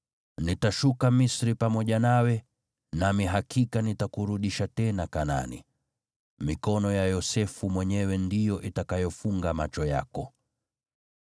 Nitashuka Misri pamoja nawe, nami hakika nitakurudisha tena Kanaani. Mikono ya Yosefu mwenyewe ndiyo itakayofunga macho yako.”